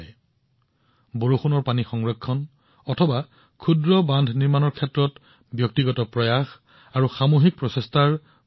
check বান্ধ তৈয়াৰ কৰা বৰষুণৰ পানী সংগ্ৰহ কৰা ইয়াত ব্যক্তিগত প্ৰচেষ্টাও গুৰুত্বপূৰ্ণ আৰু সামূহিক প্ৰচেষ্টাও প্ৰয়োজনীয়